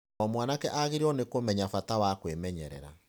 O mwanake agĩrĩirũo nĩ kũmenya bata wa kwĩmenyerera.